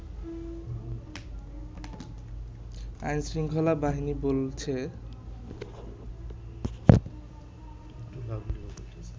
আইন-শৃঙ্খলাবাহিনী বলছে